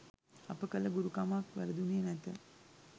අප කළ ගුරුකමක් වැරදුනේ නැත.